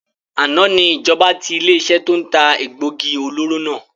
Àná ni ìjọba tí ilé iṣẹ́ to ń ta egbògi olóró náà